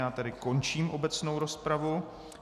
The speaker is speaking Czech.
Já tedy končím obecnou rozpravu.